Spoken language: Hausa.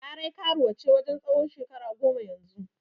Larai karuwa ce wajen tsawon shekara goma yanzu.